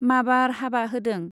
माबार हाबा होदों।